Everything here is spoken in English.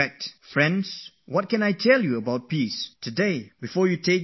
Friends, what can I tell you about peace of mind today, before you go for your exams